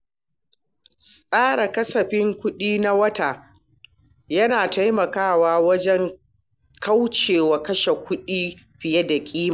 Tsara kasafin kuɗi na wata yana taimakawa wajen kaucewa kashe kuɗi fiye da ƙima.